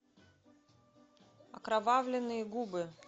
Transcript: окровавленные губы